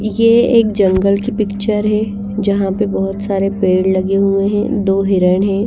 ये एक जंगल की पिक्चर हैं जहाँ पर बहुत सारे पेड़ लगे हुए हैं दो हिरण हैं।